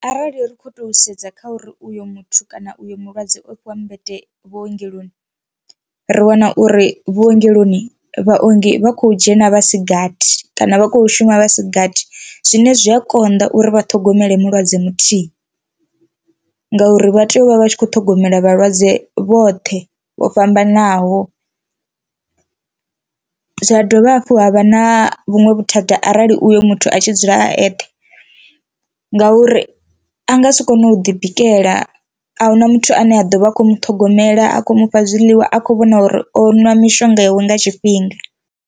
Arali ri kho to sedza kha uri uyo muthu kana uyo mulwadze o fhiwa mmbete vhuongeloni ri wana uri vhuongeloni vhaongi vha kho dzhena vhasigathi kana vha kho shuma vhasigathi, zwine zwi a konḓa uri vhaṱhogomele mulwadze muthihi ngauri vha tea u vha vha tshi kho ṱhogomela vhalwadze vhoṱhe vho fhambanaho. Zwa dovha hafhu ha vha na vhuṅwe vhuthada arali uyo muthu a tshi dzula a eṱhe ngauri a nga si kone u ḓi bikela ahuna muthu ane a ḓovha a khou muṱhogomela a khou mufha zwiḽiwa a kho vhona uri o nwa mishonga iwe nga tshifhinga.